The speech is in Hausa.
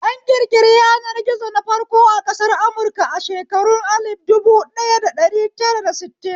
An ƙirƙiri yanar gizo na farko a ƙasar amurka a shekarun alif dubu ɗaya da dari tara da sittin.